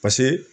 Paseke